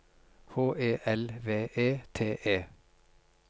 H E L V E T E